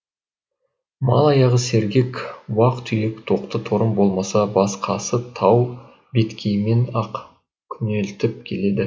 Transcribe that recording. мал аяғы сергек уақ түйек тоқты торым болмаса басқасы тау беткейімен ақ күнелтіп келеді